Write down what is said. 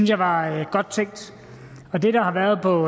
jeg var godt tænkt det der har været på